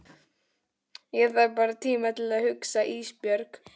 Ég þarf bara tíma til að hugsa Ísbjörg.